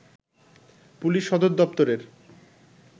police সদর দপ্তরের